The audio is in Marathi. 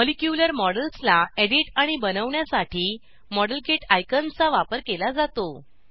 मॉलिक्यूलर मॉडेल्सला एडिट आणि बनवण्यासाठी मॉडेलकिट आयकॉनचा वापर केला जातो